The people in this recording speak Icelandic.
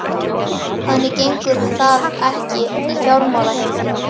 Þannig gengur það ekki í fjármálaheiminum.